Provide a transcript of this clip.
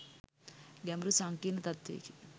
ගැඹුරු සංකීර්ණ තත්ත්වයකි.